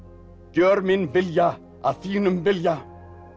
gjör minn vilja að þínum vilja